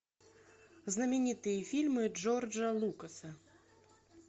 знаменитые фильмы джорджа лукаса